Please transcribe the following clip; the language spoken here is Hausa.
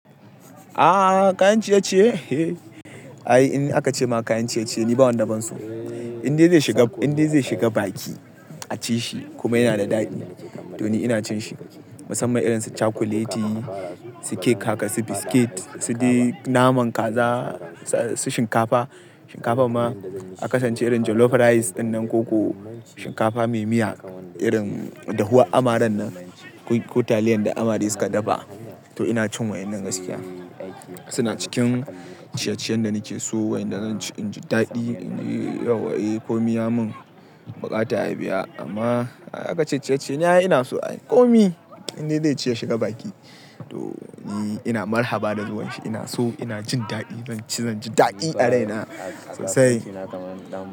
Ah, kayan ciye-ciye? Ai in aka ce ma kayan ciye-ciye ni ba wanda ban so. Inde zai shiga, inda zai shiga baki a ci shi kuma yana da daɗi to ni ina cin shi. Musamman irin su cakuleti, su kek haka, su biskit, su de naman kaza, su shinkafa. Shinkafa ma aka sance irin jollof rice dinnan koko, shinkafa mai miya irin dahuwa amaran nan ko taliyan da amare suka dafa. To ina cin wa'yannan gaskiya. Suna cikin ciye-ciyen da nake so wayanda zan ci in ji daɗi in yi yauwa. Eh, ko mi ya min buƙata ya biya amma aka ce ciye-ciye ne ina so. Ai komi inda zai ci ya shiga baki to ni ina marhaba da zuwan shi. Ina so ina jin daɗi zan ci zan ji daɗi a raina sosai.